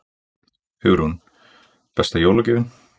Hugrún: Besta jólagjöfin?